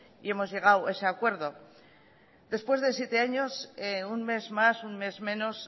y hemos llegado a ese acuerdo después de siete años un mes más un mes menos